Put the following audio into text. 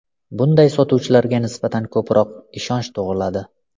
Bunday sotuvchilarga nisbatan ko‘proq ishonch tug‘iladi.